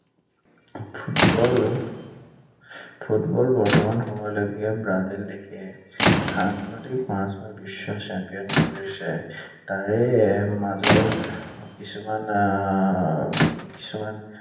Football, football বৰ্তমান সময়লৈকে Brazil দেশে সৰ্বাধিক পাঁচ বাৰ বিশ্ব champion হৈছে। তাৰে মাজৰ কিছুমান আহ কিছুমান